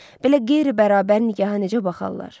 Belə qeyri-bərabər nigaha necə baxarlar?